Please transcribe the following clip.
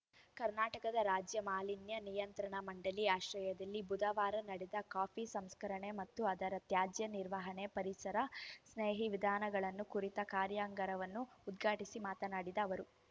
ಕರ್ನಾಟಕದ ರಾಜ್ಯ ಮಾಲಿನ್ಯ ನಿಯಂತ್ರಣ ಮಂಡಳಿ ಆಶ್ರಯದಲ್ಲಿ ಬುಧವಾರ ನಡೆದ ಕಾಫಿ ಸಂಸ್ಕರಣೆ ಮತ್ತು ಅದರ ತ್ಯಾಜ್ಯ ನಿರ್ವಹಣೆ ಪರಿಸರ ಸ್ನೇಹಿ ವಿಧಾನಗಳು ಕುರಿತ ಕಾರ್ಯಾಗಾರವನ್ನು ಉದ್ಘಾಟಿಸಿ ಮಾತನಾಡಿದ ಅವರು